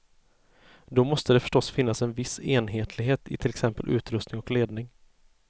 Då måste det förstås finnas en viss enhetlighet i till exempel utrustning och ledning.